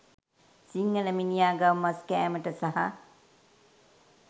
සිංහල මිනිහා ගව මස් කෑමට සහ